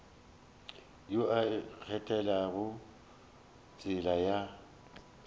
yo a ikgethelago tsela ya